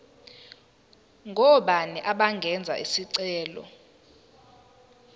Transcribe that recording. ngobani abangenza isicelo